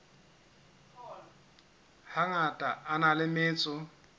hangata a na le metso